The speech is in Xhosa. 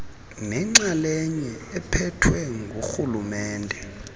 nenxalenye ephethwe ngurhulumente